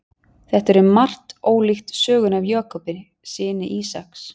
Þetta er um margt ólíkt sögunni af Jakobi, syni Ísaks.